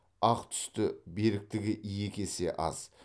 ақ түсті беріктігі екі есе аз